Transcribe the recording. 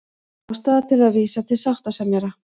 Ástæða til að vísa til sáttasemjara